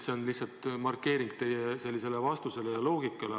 See on lihtsalt markeering teie vastusele ja loogikale.